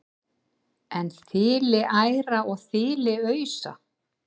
en þiliæra og þiliausa